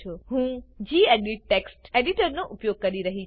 હું gedit text editor નો ઉપયોગ કરી રહી છુ